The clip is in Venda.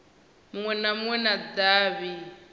munwe na munwe wa davhi